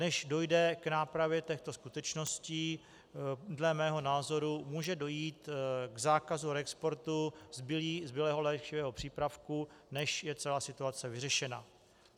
Než dojde k nápravě těchto skutečností, dle mého názoru může dojít k zákazu reexportu zbylého léčivého přípravku, než je celá situace vyřešena.